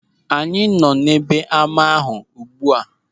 Anyị nọ n'ebe ama ahụ ugbu a.